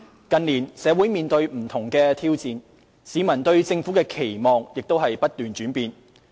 近年，社會面對不同的挑戰，市民對政府的期望亦不斷轉變。